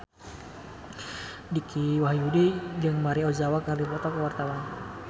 Dicky Wahyudi jeung Maria Ozawa keur dipoto ku wartawan